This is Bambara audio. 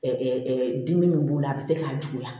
dimi min b'u la a bɛ se k'a juguya